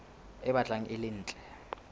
e batlang e le ntle